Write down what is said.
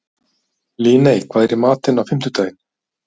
Líney, hvað er í matinn á fimmtudaginn?